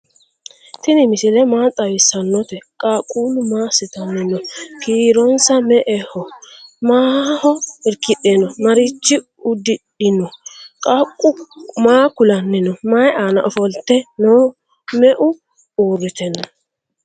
ttini misile maa xawisanote? qaqulu maa asitanni noo? kironsa me"eho? maho irkidhe noo? maricho udidhino? qaqu maa kulanni noo? mayi anna offfolte noo? meu urite noo